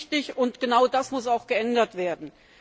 Das ist richtig, und genau das muss auch geändert werden.